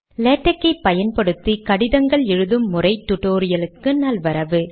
LaTeX ஐ பயன்படுத்தி கடிதங்கள் எழுதும் முறை tutorialக்கு நல்வரவு